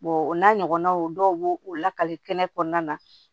o n'a ɲɔgɔnnaw dɔw b'o o lakali kɛnɛ kɛnɛ kɔnɔna na